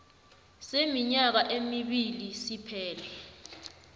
seminyaka emibili siphele